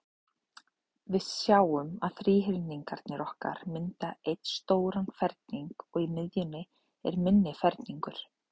Við sjáum að þríhyrningarnir okkar mynda einn stóran ferning, og í miðjunni er minni ferningur.